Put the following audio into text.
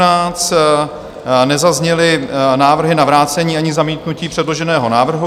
Nezazněly návrhy na vrácení ani zamítnutí předloženého návrhu.